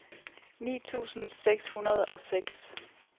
ni tusind seks hundrede og seks